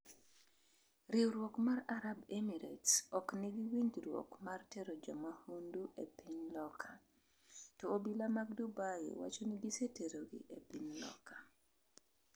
riwruok mar Arab Emirates ok nigi winjruok mar tero jomahundu e piny loka, to obila mag Dubai wacho ni giseterogi e piny Loka